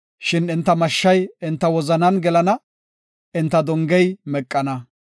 Shin enta mashshay enta wozanan gelana; enta dongey meqana.